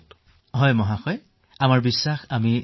চিকিৎসক মহোদয় আমি জয়ী হম বুলি সম্পূৰ্ণ বিশ্বাসী